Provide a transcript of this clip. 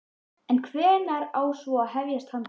En hvenær á svo að hefjast handa?